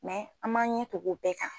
Mɛ an m'an ɲɛ tugu o bɛɛ kan